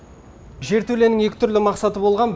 жертөленің екі түрлі мақсаты болған